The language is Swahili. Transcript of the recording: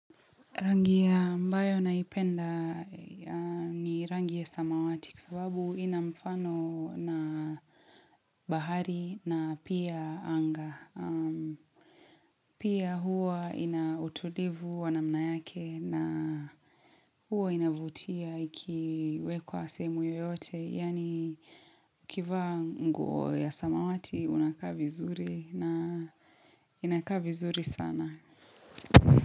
Rangi ambayo naipenda ni rangi ya samawati kwa sababu ina mfano na bahari na pia anga. Pia hua ina utulivu wa namna yake na hua inavutia ikiwekwa sehemu yoyote. Yani kivaa nguo ya samawati unakaa vizuri na inakaa vizuri sana.